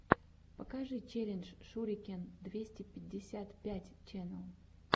покажи челлендж шурикен двести пятьдесят пять ченел